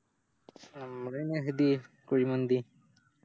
ഞമ്മള് നെഹദിയെ കുഴി മന്തി